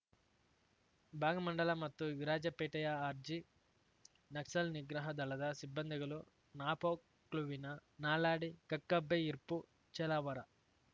ಭಾಗಮಂಡಲ ಮತ್ತು ವಿರಾಜಪೇಟೆಯ ಆರ್ಜಿ ನಕ್ಸಲ್ ನಿಗ್ರಹ ದಳದ ಸಿಬ್ಬಂದಿಗಳು ನಾಪೋಕ್ಲುವಿನ ನಾಲಾಡಿ ಕಕ್ಕಬ್ಬೆ ಇರ್ಪು ಚೇಲಾವರ